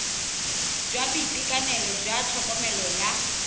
jwa boitekanelo jwa tlhokomelo jwa